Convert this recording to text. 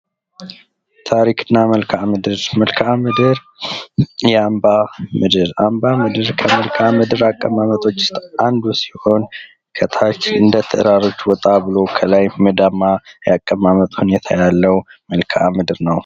ታሪክ እና መልክዓ ምድር ፦ መልክዓ ምድር ፦ የአምባ ምድር ፦ አምባ ምድር ከመልከአ ምድር አቀማመጦች ውስጥ አንዱ ሲሆን ከታች እንደ ተራሮች ወጣ ብሎ ከላይ ሜዳማ ያቀማመጥ ሁኔታ ያለው መልክዓ ምድር ነው ።